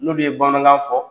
N'ulu ye bamanankan fɔ.